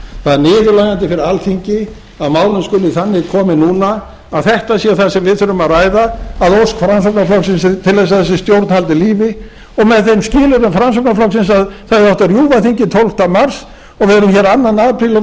það er niðurlægjandi fyrir alþingi að málum skuli þannig komið núna að þetta sé það sem við þurfum að ræða að ósk framsóknarflokksins til að þessi stjórn haldi lífi og með þeim skilyrðum framsóknarflokksins að það hefði átt að rjúfa þingið tólfta mars og við erum hér